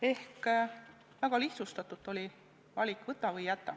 Ehk väga lihtsustatult öeldes oli valik: võta või jäta.